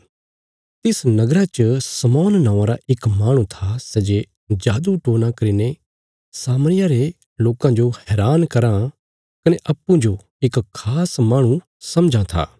तिस नगरा च शमौन नौआं रा इक माहणु था सै जे जादूटोणा करीने सामरिया रे लोकां जो हैरान कराँ कने अप्पूँजो इक खास माहणु समझां था